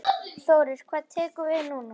Þórir: Hvað tekur við núna?